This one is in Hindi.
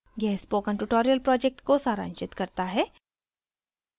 यह spoken tutorial project को सारांशित करता है